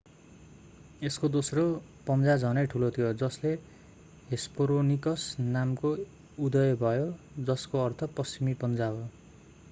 यसको दोस्रो पञ्जा झनै ठूलो थियो जसले हेस्परोनिकस नामको उदय भयो जसको अर्थ पश्चिमी पञ्जा हो